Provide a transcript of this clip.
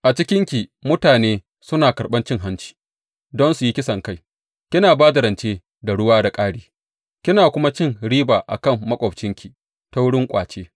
A cikinki mutane suna karɓan cin hanci don su yi kisankai; kina ba da rance da ruwa da ƙari, kina kuma cin riba a kan maƙwabcinki ta wurin ƙwace.